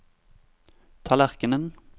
tallerkenen